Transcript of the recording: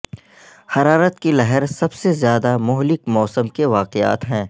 حرارت کی لہر سب سے زیادہ مہلک موسم کے واقعات ہیں